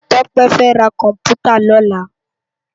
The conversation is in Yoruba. Tope fè rá kòmpútá lòlá